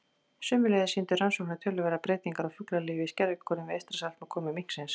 Sömuleiðis sýndu rannsóknir töluverðar breytingar á fuglalífi í skerjagörðum við Eystrasalt með komu minksins.